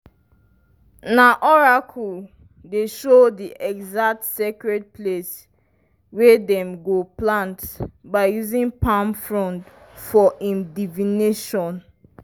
na oracle dey show di exact sacred place wey dem go plant by using palm frond for im divination.